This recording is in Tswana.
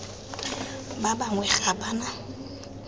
ba bangwe ga ba na